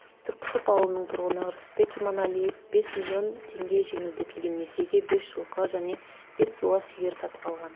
түрксіб ауылының тұрғыны ырысбек иманалиев бес миллион теңге жеңілдетілген несиеге бес жылқы және бес буаз сиыр сатып алған